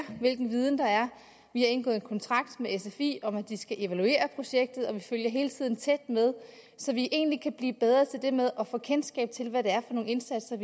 hvilken viden der er vi har indgået kontrakt med sfi om at de skal evaluere projektet og vi følger det hele tiden tæt så vi egentlig kan blive bedre til det med at få kendskab til hvad det er for nogle indsatser